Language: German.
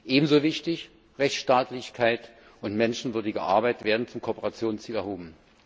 Ebenso wichtig Rechtsstaatlichkeit und menschenwürdige Arbeit werden zum Kooperationsziel erhoben.